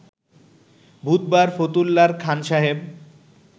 বুধবার ফতুল্লার খান সাহেব